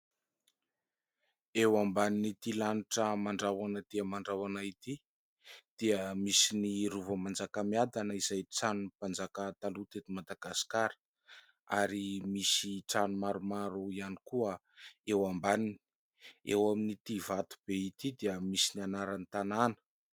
eo amban'ny'ity lanitra mandraoana tỳmandraoana ity dia misy ny rovo manjakamiadana izay tsanoy mpanjaka taloa tety madagaskara ary misy tranomaromaro ihany koa eo ambaninyy eo amin'n'ity vato be ity dia misy ny anaran'ny tanàna